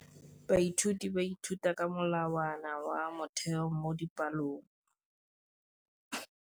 Baithuti ba ithuta ka molawana wa motheo mo dipalong.